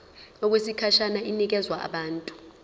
okwesikhashana inikezwa abantu